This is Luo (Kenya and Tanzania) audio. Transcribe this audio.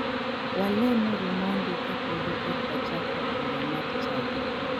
Walemuru mondi kapodi ok wachako bura mar chadi.